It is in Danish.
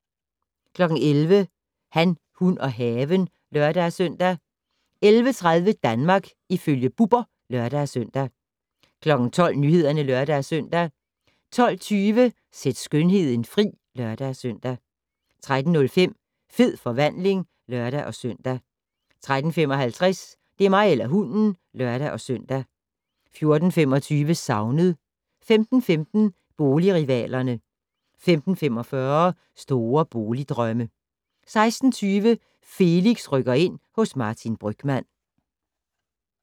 11:00: Han, hun og haven (lør-søn) 11:30: Danmark ifølge Bubber (lør-søn) 12:00: Nyhederne (lør-søn) 12:20: Sæt skønheden fri (lør-søn) 13:05: Fed forvandling (lør-søn) 13:55: Det er mig eller hunden (lør-søn) 14:25: Savnet 15:15: Boligrivalerne 15:45: Store boligdrømme 16:20: Felix rykker ind - hos Martin Brygmann